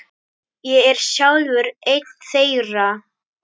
Ég er sjálfur einn þeirra.